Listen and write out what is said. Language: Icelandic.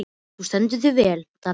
Þú stendur þig vel, Danheiður!